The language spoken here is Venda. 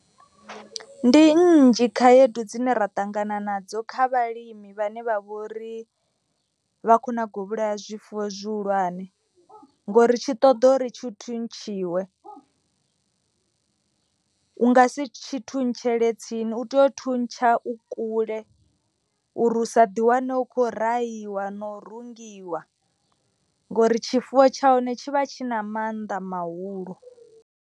Ndi nnzhi khaedu dzine ra ṱangana nadzo kha vhalimi vhane vha vhori vha kho nago vhulaya zwifuwo zwihulwane. Ngori tshi ṱoḓa uri tshi thuntshiwe u nga si tshi thuntshele tsini u tea u thuntsha u kule. Uri u sa ḓi wane u khou rahiwa no rungiwa ngori tshifuwo tsha hone tshi vha tshi na maanḓa mahulu.